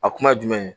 A kuma jumɛn